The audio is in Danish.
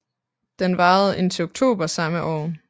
Den varede indtil oktober samme år